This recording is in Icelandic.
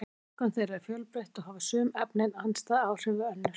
verkun þeirra er fjölbreytt og hafa sum efnin andstæð áhrif við önnur